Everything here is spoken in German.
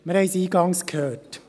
Wir haben es eingangs gehört.